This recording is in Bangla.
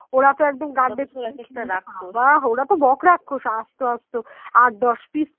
ওরা তো বক রাক্ষস আস্ত আস্ত আট দশ পিস